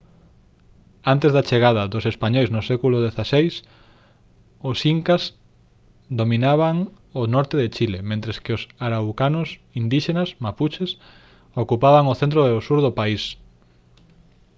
antes da chegada dos españois no século xvi os incas dominaban o norte de chile mentres que os araucanos indíxenas mapuches ocupaban o centro e sur do país